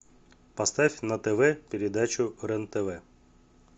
поставь на тв передачу рен тв